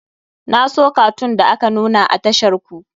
Na so katun da aka nuna a tashar ku.